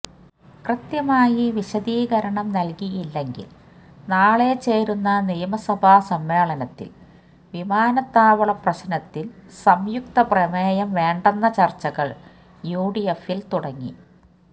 കൃത്യമായി വിശദീകരണം നൽകിയില്ലെങ്കിൽ നാളെ ചേരുന്ന നിയമസഭാ സമ്മേളനത്തിൽ വിമാനത്താവളപ്രശ്നത്തിൽ സംയുക്തപ്രമേയം വേണ്ടെന്ന ചർച്ചകൾ യുഡിഎഫിൽ തുടങ്ങി